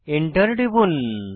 Enter টিপুন